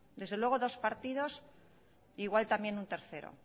desde luego dos partidos igual también un tercero